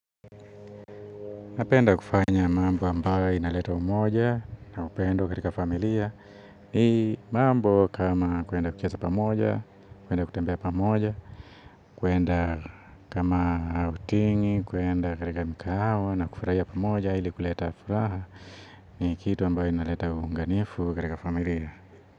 Napenda kufanya mambo ambayo inaleta umoja na upendo katika familia ni mambo kama kuenda kucheza pamoja, kuenda kutembea pamoja kuenda kama autingi, kuenda katika mkahawa na kufurahia pamoja ili kuleta furaha ni kitu ambayo inaleta uunganifu katika familia.